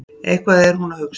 Eitthvað er hún að hugsa.